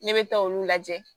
Ne bɛ taa olu lajɛ